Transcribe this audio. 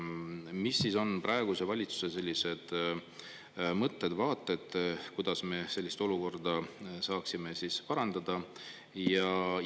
Mis siis on praeguse valitsuse sellised mõtted, vaated, kuidas me sellist olukorda saaksime parandada?